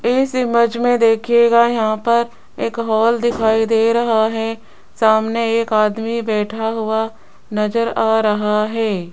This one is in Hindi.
इस इमेज में देखिएगा यहां पर एक हाल दिखाई दे रहा है सामने एक आदमी बैठा हुआ नजर आ रहा है।